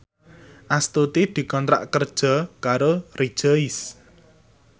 Astuti dikontrak kerja karo Rejoice